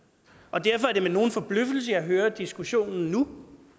derfor er det med nogen forbløffelse jeg hører diskussionen nu